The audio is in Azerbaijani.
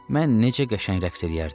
Mən necə qəşəng rəqs eləyərdim?